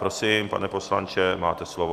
Prosím, pane poslanče, máte slovo.